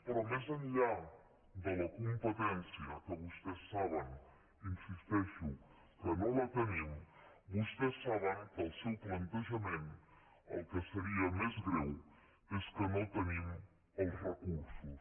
però més enllà de la competència que vostès saben hi insisteixo que no la tenim vostès saben que el seu plantejament el que seria més greu és que no tenim els recursos